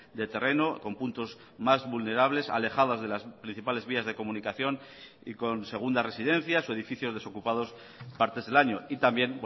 de terreno con puntos más vulnerables alejadas de las principales vías de comunicación y con segundas residencias o edificios desocupados partes del año y también